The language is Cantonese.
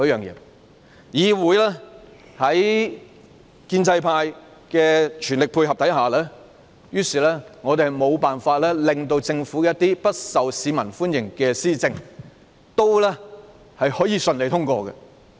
議會在建制派全力配合下，我們無法制止一些不受市民歡迎的政府施政順利通過。